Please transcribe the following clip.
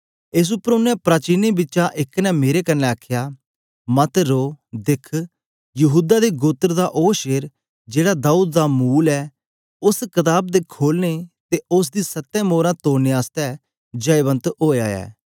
एस उपर ओनें प्राचीनें बिचा एक ने मेरे कन्ने आखया मत रो दिख यहूदा दे गोत्र दा ओ शेर जेहड़ा दाऊद दा मूल ऐ उस्स कताब दे खोलने ते उस्स दी सत्तें मोरां तोड़ने आसतै जयवंत ओया ऐ